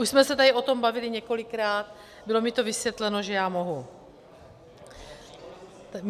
Už jsme se tady o tom bavili několikrát, bylo mi to vysvětleno, že já mohu.